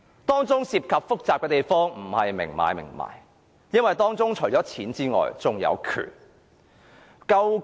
當中複雜的地方不是明買明賣，因為除了錢之外，還有權力。